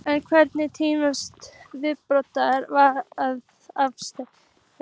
En hvenær telst vítaspyrna vera afstaðin?